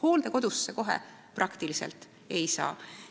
Hooldekodusse kohe tavaliselt ei saa.